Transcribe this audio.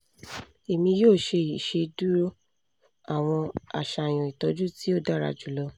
emi yoo ṣe iṣeduro awọn aṣayan itọju ti o dara julọ